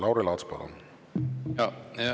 Lauri Laats, palun!